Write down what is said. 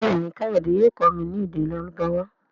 Béèni kayode yóò kọ mí ní èdè Lárúbáwá.